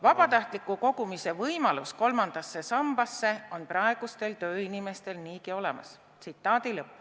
"Vabatahtliku kogumise võimalus kolmandasse sambasse on praegustel tööinimestel niigi olemas.